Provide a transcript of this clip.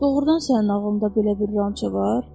Doğrudan sənin ağlında belə bir ranço var?